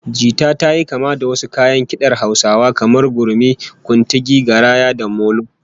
Jita tayi kama da wasu kayan kidar Hausawa kamar gurmi, kuntigi, garaya, da molo